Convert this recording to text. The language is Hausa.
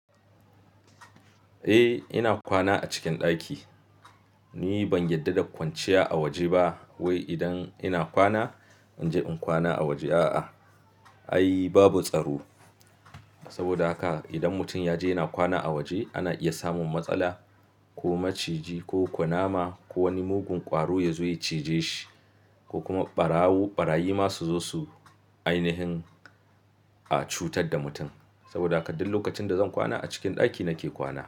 Eh ina kwana a cikin ɗaki. Ni ban yarda da kwanciya a waje ba. Wei idan ina kwana in je in kwana a waje a'a ai babu tsaro. Saboda haka idan mutum ya je yana kwana a waje ana iya samun matsala ko maciji ko kunama ko wani mugun ƙwaro ya zo ya cije shi ko kuma barawo ɓarayi ma su zo su ainihin a cutar da mutum. Saboda haka duk lokacin da zan kwana a cikin ɗaki nake kwana.